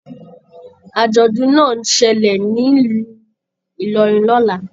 Ajọdun náà n ṣẹlẹ nílu Ilorin lọla.